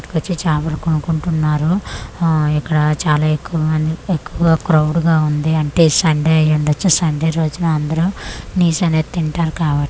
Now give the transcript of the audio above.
వచ్చి చాపలు కొనుక్కుంటున్నారు ఆ ఇక్కడా చాలా ఎక్కవ మంది ఎక్కువ క్రౌడ్ గా ఉంది అంటే సన్డే అయిండచ్చు సన్డే రోజున అందురూ నీస్ అనేది తింటారు కాబ --